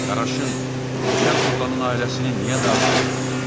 Qaraşın keçəl oğlanın ailəsini niyə dağıtmışdım?